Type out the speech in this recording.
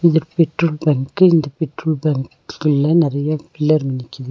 இது petrol bunk இந்த petrol பங்க்குள்ள நறைய பில்லர் நிக்குது.